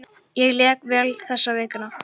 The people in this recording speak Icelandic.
Ég lék vel þessa vikuna.